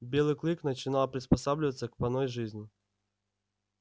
белый клык начинал приспосабливаться к поной жизни